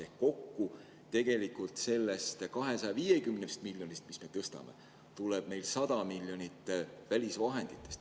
Ehk sellest 250 miljonist, mille võrra me tõstame, tuleb kokku 100 miljonit tegelikult välisvahenditest.